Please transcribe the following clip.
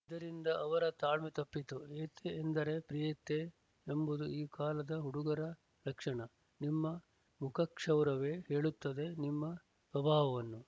ಇದರಿಂದ ಅವರ ತಾಳ್ಮೆ ತಪ್ಪಿತು ಏತೆ ಎಂದರೆ ಪ್ರೀತೆ ಎಂಬುದು ಈ ಕಾಲದ ಹುಡುಗರ ಲಕ್ಷಣ ನಿನ್ನ ಮುಖಕ್ಷೌರವೇ ಹೇಳುತ್ತದೆ ನಿನ್ನ ಸ್ವಭಾವವನ್ನು